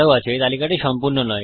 এই তালিকাটি সম্পূর্ণ নয়